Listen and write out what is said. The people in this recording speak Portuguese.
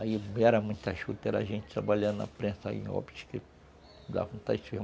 Aí era muita juta, era gente trabalhando na prensa em, que dava vontade.